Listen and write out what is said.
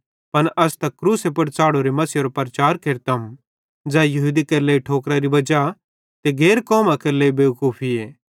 पन अस त तैस क्रूसे पुड़ च़ाढ़ोरे मसीहेरो प्रचार केरतम ज़ै यहूदी केरे लेइ ठोकरारी वजाए ते गैर कौमां केरे लेइ बेवकूफीए